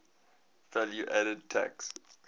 value added tax